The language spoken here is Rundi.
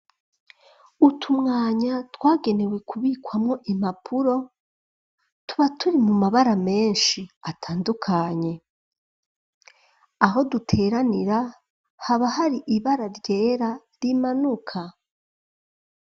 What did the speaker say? Utumwanya twagenewe kubikwamwo impapuro, tuba turi mu mabara menshi atandukanye. Aho duteranira haba hari ibara ryera rimanuka.